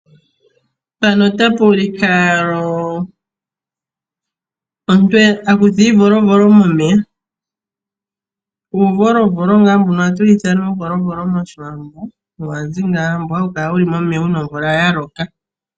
Mpano otapu ulike omuntu akutha iivolovolo momeya , mboka hawu kala momeya uuna omvula yaloka